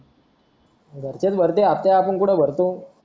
घरचेच भरत्यात हप्ते आपण कुठे भरतो